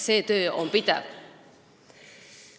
See töö on pidev.